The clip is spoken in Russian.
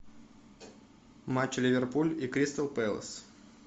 матч ливерпуль и кристал пэлас